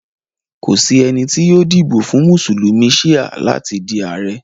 Kò sí ènì tó yóò díbọ̀ fún Musulumi Shia látì dí Ààrẹ̀.